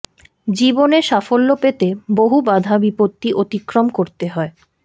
জীবনে সাফল্য পেতে বহু বাধা বিপত্তি অতিক্রম করতে হয়